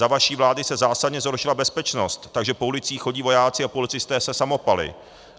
Za vaší vlády se zásadně zhoršila bezpečnost, takže po ulicích chodí vojáci a policisté se samopaly.